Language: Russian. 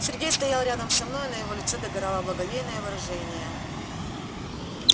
сергей стоял рядом со мной а на его лицо догорало благоговейное выражение